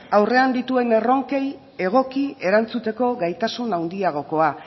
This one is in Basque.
aurrean dituen erronkei egoki erantzuteko gaitasun handiagokoa